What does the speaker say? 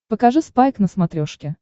покажи спайк на смотрешке